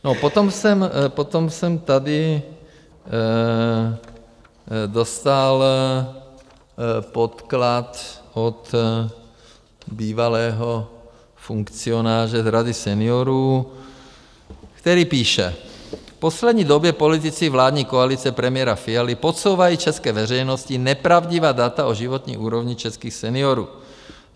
Potom jsem tady dostal podklad od bývalého funkcionáře z Rady seniorů, který píše: V poslední době politici vládní koalice premiéra Fialy podsouvají české veřejnosti nepravdivá data o životní úrovni českých seniorů.